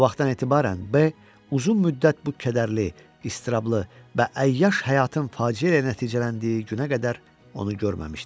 O vaxtdan etibarən bəy uzun müddət bu kədərli, əzablı və əyyaş həyatın faciə ilə nəticələndiyi günə qədər onu görməmişdi.